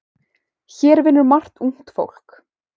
Hér vinnur margt ungt fólk.